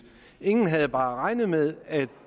ingen havde bare regnet med at